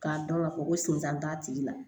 K'a dɔn k'a fɔ ko senzan t'a tigi la